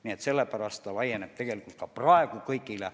Nii et sellepärast see laieneb tegelikult ka praegu kõigile.